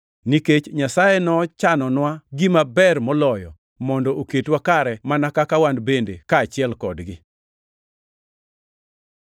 nikech Nyasaye nochanonwa gima ber moloyo mondo oketwa kare mana ka wan kaachiel kodgi.